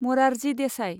Morarji Desai